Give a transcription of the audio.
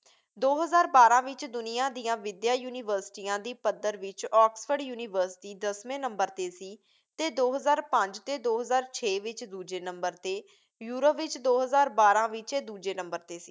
ਦੋ ਹਜ਼ਾਰ ਬਾਰਾਂ ਵਿੱਚ ਦੁਨੀਆ ਦੀਆਂ ਵਿਦਿਆ ਯੂਨੀਵਰਸਿਟੀਆਂ ਦੀ ਪੱਧਰ ਵਿੱਚ ਆਕਸਫ਼ੋਰਡ ਯੂਨੀਵਰਸਿਟੀ ਦਸਵੇਂ ਨੰਬਰ 'ਤੇ ਸੀ ਅਤੇ ਦੋ ਹਜ਼ਾਰ ਪੰਜ ਅਤੇ ਦੋ ਹਜ਼ਾਰ ਛੇ ਵਿੱਚ ਦੂਜੇ ਨੰਬਰ 'ਤੇ। ਯੂਰਪ ਵਿੱਚ ਦੋ ਹਜ਼ਾਰ ਬਾਰਾਂ ਵਿੱਚ ਇਹ ਦੂਜੇ ਨੰਬਰ 'ਤੇ ਸੀ।